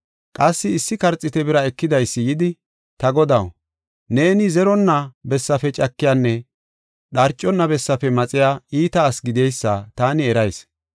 “Qassi issi karxiite bira ekidaysi yidi, ‘Ta godaw, neeni zeronna bessafe cakiyanne dharcona bessafe maxiya iita asi gideysa taani erayis.